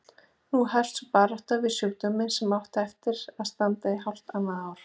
Nú hófst sú barátta við sjúkdóminn sem átti eftir að standa í hálft annað ár.